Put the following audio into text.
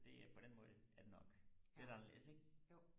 det er på den måde er det nok lidt anderledes ikke